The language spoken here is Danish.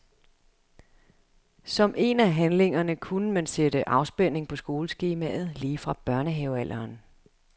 Som en af handlingerne kunne man sætte afspænding på skoleskemaet lige fra børnehavealderen.